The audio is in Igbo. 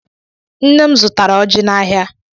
Nne m zụtara ọjị n'ahịa.